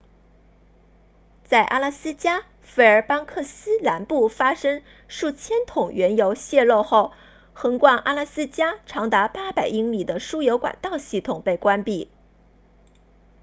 在阿拉斯加费尔班克斯 fairbanks 南部发生数千桶原油泄漏后横贯阿拉斯加长达800英里的输油管道系统被关闭